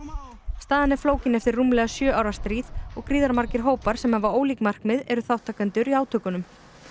staðan er flókin eftir rúmlega sjö ára stríð og gríðarmargir hópar sem hafa ólík markmið eru þátttakendur í átökunum